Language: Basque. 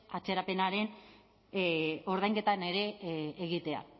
atzerapenaren ordainketan ere egitea